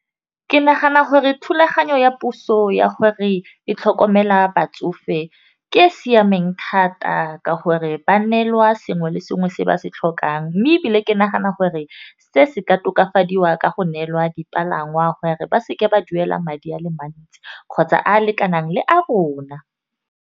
Ke nagana gore thulaganyo ya puso ya gore e tlhokomela batsofe ke e e siameng thata ka gore, ba neelwa sengwe le sengwe se ba se tlhokang, mme ebile ke nagana hore se se ka tokafadiwa ka go neelwa dipalangwa gore ba se ke ba duela madi ale mantsi kgotsa a a lekanang le a rona.